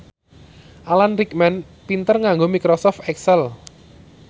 Alan Rickman pinter nganggo microsoft excel